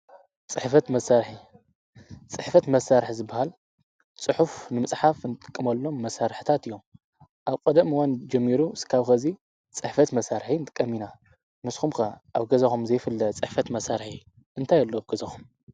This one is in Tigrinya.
ፅሕፈት መሳርሒ፡- ፅሕፈት መሳርሒ ዝበሃል ፅሑፍ ንምጽሓፍ ንጥቀመሎም መሳርሕታት እዮም፡፡ ኣብ ቀደም እዋን ጀሚሩ እስካብ ኸዚ ፅሕፈት መሳርሒ ንጥቀም ኢና ንስኹም ከ ኣብ ገዛኾም ዘይፍለጥ ፅሕፈት መሳርሒ እንታይ ኣሎ ኣብ ገዛኹም?